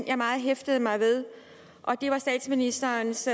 jeg meget hæftede mig ved og det var statsministerens